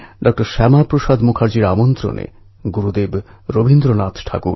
এই যাত্রা যাকে বারী বলা হয়ে থাকে এতে লক্ষ লক্ষ বারকরী যোগদান করেন